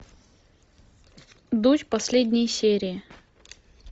дочь последние серии